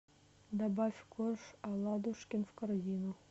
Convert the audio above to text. добавь корж аладушкин в корзину